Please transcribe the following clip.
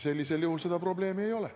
Sellisel juhul seda probleemi ei ole.